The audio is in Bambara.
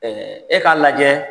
e k'a lajɛ